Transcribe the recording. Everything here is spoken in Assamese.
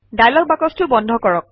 ডায়লগ বাকচটো বন্ধ কৰক